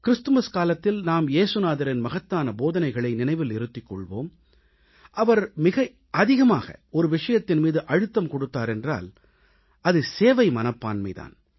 Christmas காலத்தில் நாம் ஏசுநாதரின் மகத்தான போதனைகளை நினைவில் இருத்திக் கொள்வோம் அவர் மிக அதிகமாக ஒரு விஷயத்தின் மீது அழுத்தம் கொடுத்தார் என்றால் அது சேவை மனப்பான்மை தான்